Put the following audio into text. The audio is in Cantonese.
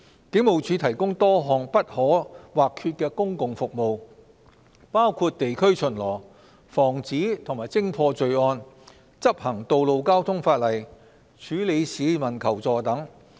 警務處提供多項不可或缺的公共服務，包括地區巡邏、防止及偵破罪案、執行道路交通法例、處理市民求助等。